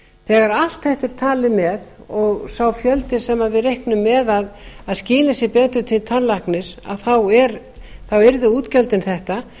þegar allt þetta er talið með og sá fjöldi sem við reiknum með að skili sér betur til tannlæknis yrðu útgjöldin þetta